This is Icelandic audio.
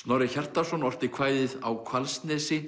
Snorri Hjartarson orti kvæðið á Hvalsnesi